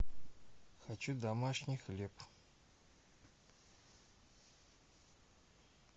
хочу домашний хлеб